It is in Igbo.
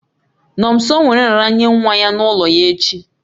Nomso nwere nraranye nwa ya n'ụlọ ya echi